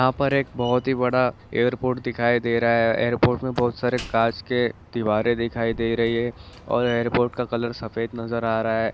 यहाँ पर एक बहुत ही बड़ा एयरपोर्ट दिखाई दे रहा है एयरपोर्ट में बहुत सारी कांच के दीवारें दिखाई दे रही है और एयरपोर्ट का कलर सफेद नजर आ रहा हैं ।